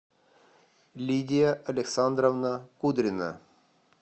лидия александровна кудрина